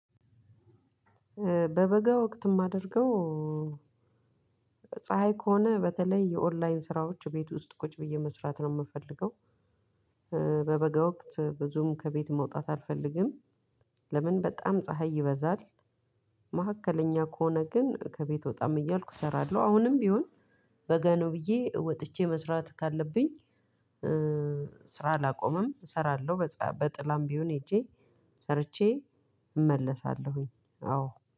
በበጋ ወቅት የማደርገው ፀሀይ ከሆነ በተለይ የኦንላይን ስራዎች ቤት ውስጥ ቁጭ ብዬ መስራት ነው የምፈልገው። በበጋ ወቅት ብዙም ከቤት መውጣት አልፈልግም። ለምን በጣም ፀሀይ ይበዛል። መካከለኛ ከሆነ ግን ከቤት ወጣም እያልኩ እሰራለሁ። አሁንም ቢሆን በጋ ነው ብዬ ወጥቼ መስራት ካለብኝ። ስራ አላቆምም ሰራለው በጥላም ቢሆን ሄጄ ሰርቼ እመለሳለሁ።